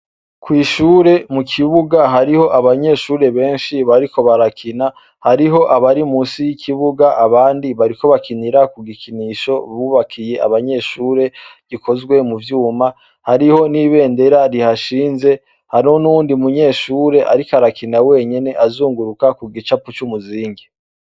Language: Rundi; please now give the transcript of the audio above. Kwishure mukibuga hariho abanyeshure benshi bariko barakina, hariho abari munsi yikibuga abandi bariko bakinira kugikinisho bubakiye abanyeshure gikozwe muvyuma, hariho n’ibendera rihashinze hariho, n’uyundi munyeshure ariko arakina wenyene azunguruka kugicapo cumuzingi.